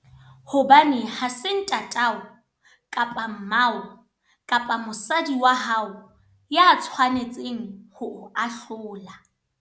Hobane ha se ntatao, kapa mmao, kapa mosadi wa hao, ya tshwanetseng ho o ahlola.